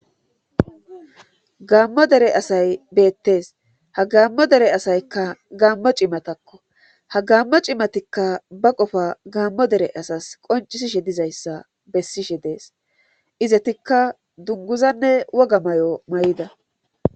Gaammo dere asay beettes ha gammo dere asaykka gaammo cimatakko ha gaammo cimatikka ba qofa gaammo dere asas qoncisishe dizayssa bessishe dees izatikka dunguzanne woga may7o may7ida.